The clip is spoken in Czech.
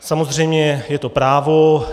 Samozřejmě je to právo.